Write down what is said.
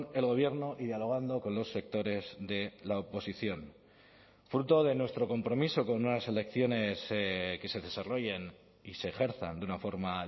el gobierno y dialogando con los sectores de la oposición fruto de nuestro compromiso con unas elecciones que se desarrollen y se ejerzan de una forma